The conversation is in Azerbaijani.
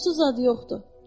Qoxusuz adı yoxdur.